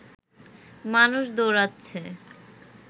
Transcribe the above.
মানুষ দৌড়োচ্ছে